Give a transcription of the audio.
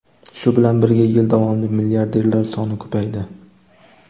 Shu bilan birga, yil davomida milliarderlar soni ko‘paydi.